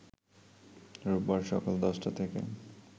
রোববার সকাল ১০টা থেকে